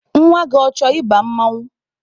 Nwa gị, ọ chọrọ ị ba mmanwụ?